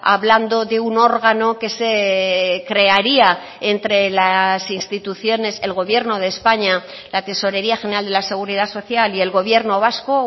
hablando de un órgano que se crearía entre las instituciones el gobierno de españa la tesorería general de la seguridad social y el gobierno vasco